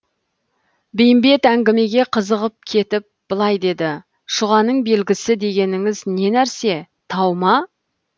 бейімбет әңгімеге қызығып кетіп былай деді шұғаның белгісі дегеніңіз не нәрсе тау ма